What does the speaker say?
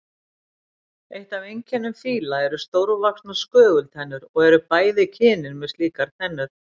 Eitt af einkennum fíla eru stórvaxnar skögultennur og eru bæði kynin með slíkar tennur.